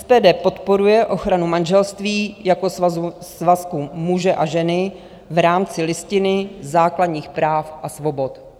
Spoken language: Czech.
SPD podporuje ochranu manželství jako svazku muže a ženy v rámci Listiny základních práv a svobod.